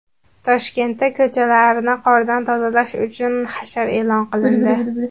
Toshkentda ko‘chalarni qordan tozalash uchun hashar e’lon qilindi.